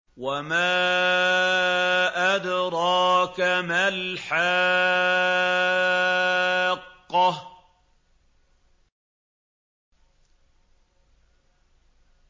وَمَا أَدْرَاكَ مَا الْحَاقَّةُ